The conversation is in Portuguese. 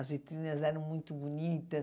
As vitrines eram muito bonitas.